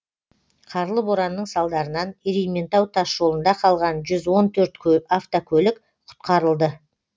қарлы боранның салдарынан ерейментау тас жолында қалған жүз он төрт автокөлік құтқарылды